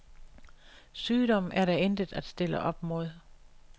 Sygdom er der intet at stille op mod.